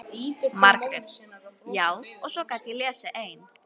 Margrét: Já, og svo gat ég lesið ein.